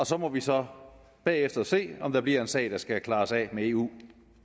så må vi så bagefter se om der bliver en sag der skal klares af med eu